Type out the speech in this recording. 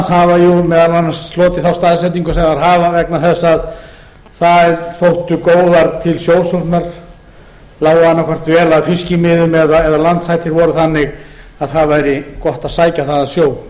hafa meðal annars þá staðsetningu sem þær hafa vegna þess að þær þóttu góðar til sjósóknar lágu annaðhvort vel að fiskimiðum eða landhættir voru þannig að það væri gott að sækja þaðan sjó